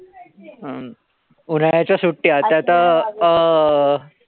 हम्म उन्हाळ्याच्या सुट्ट्या त्या त अं